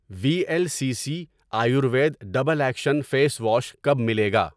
وی L C C Ayurveda double action face wash کب ملے گا؟